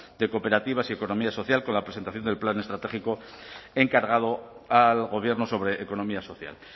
de cooperativas y economía social con la presentación del plan estratégico encargado al gobierno sobre economía social